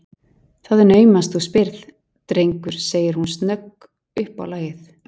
Það er naumast þú spyrð, drengur sagði hún snögg uppá lagið.